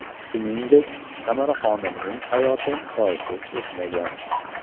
Shuningdek, Tamaraxonimning hayoti choysiz o‘tmagan.